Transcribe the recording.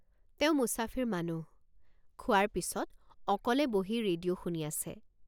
তেওঁ মোচাফিৰ মানুহ খোৱাৰ পিচত অকলে বহি ৰেডিঅ শুনি আছে।